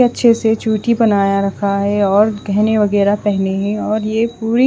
अच्छे से चुटी बनाया रखा है और गेहने वगेहरा पेहने है और ये पूरी--